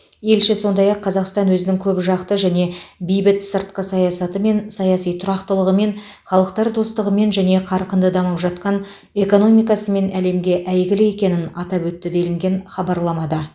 елші сондай ақ қазақстан өзінің көпжақты және бейбіт сыртқы саясатымен саяси тұрақтылығымен халықтар достығымен және қарқынды дамып жатқан экономикасымен әлемге әйгілі екенін атап өтті делінген хабарламада